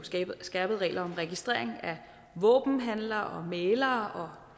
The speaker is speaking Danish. skærpede regler om registrering af våbenhandlere og mæglere